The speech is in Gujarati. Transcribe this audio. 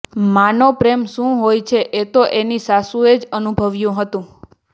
માનો પ્રેમ શું હોય છે એ તો એની સાસુએ જ અનુભવ્યું હતું